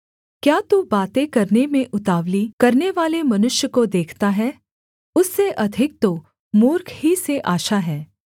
क्या तू बातें करने में उतावली करनेवाले मनुष्य को देखता है उससे अधिक तो मूर्ख ही से आशा है